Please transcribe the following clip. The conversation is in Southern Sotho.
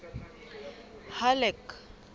halleck